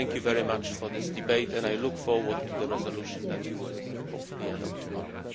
Thank you very much for this debate and I look forward to the resolution that you will hopefully adopt tomorrow.